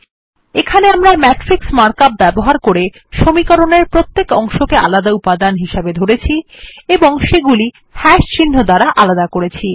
এখানে আমরা matrix markup ব্যবহার করে সমীকরণের প্রত্যেক অংশকে আলাদা উপাদান হিসাবে ধরেছি এবং সেগুলি চিহ্ন দ্বারা আলাদা করেছি